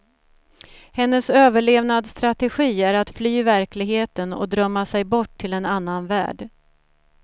Hennes överlevnadsstrategi är att fly verkligheten och drömma sig bort till en annan värld.